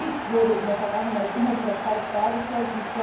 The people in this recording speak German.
Auch dies wurde in der Vergangenheit immer wieder falsch dargestellt.